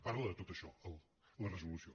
parla de tot això la resolució